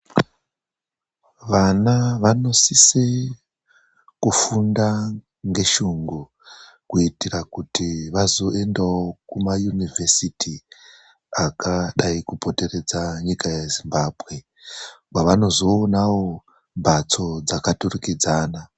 Vana vanosise kufunda ngeshungu kuitira kuti vazoendawo kumayunivhesiti akadayi kupoteredza nyika yeZimbabwe, kwavanozoonawo mhatso dzakaturikidzana.